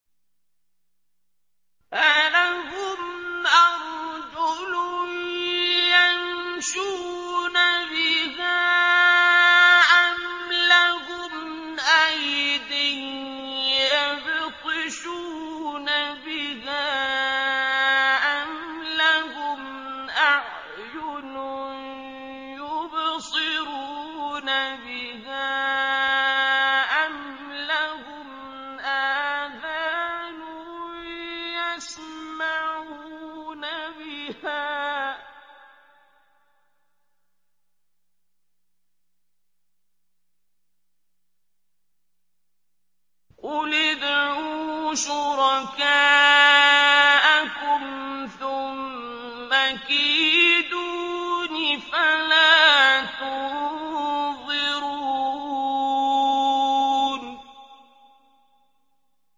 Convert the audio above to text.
أَلَهُمْ أَرْجُلٌ يَمْشُونَ بِهَا ۖ أَمْ لَهُمْ أَيْدٍ يَبْطِشُونَ بِهَا ۖ أَمْ لَهُمْ أَعْيُنٌ يُبْصِرُونَ بِهَا ۖ أَمْ لَهُمْ آذَانٌ يَسْمَعُونَ بِهَا ۗ قُلِ ادْعُوا شُرَكَاءَكُمْ ثُمَّ كِيدُونِ فَلَا تُنظِرُونِ